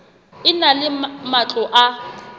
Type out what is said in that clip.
e na le matlo a